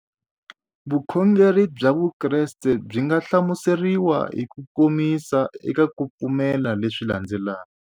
Vukhongeri bya Vukreste byi nga hlamuseriwa hi kukomisa eka ku pfumela leswi landzelaka.